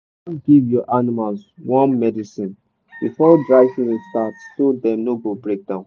you gats give your animals worm medicine before dry season start so dem no go break down.